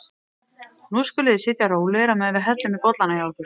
Nú skuluð þið sitja rólegir á meðan við hellum í bollana hjá ykkur.